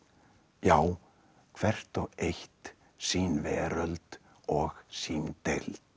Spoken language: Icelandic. já hvert og eitt sín veröld og sín deild